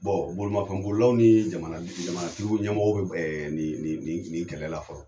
bolomafɛn bololilaw ni jamana tigi ɲɛmɔgɔw bɛ ni kɛlɛla fɔlɔ.